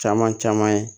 Caman caman ye